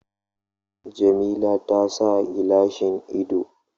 Jamila ta sa gilashin ido